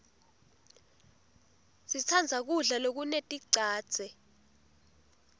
sitsandza kudla lokuneticadze